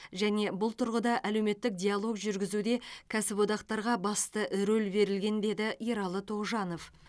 және бұл тұрғыда әлеуметтік диалог жүргізуде кәсіподақтарға басты рөл берілген деді ералы тоғжанов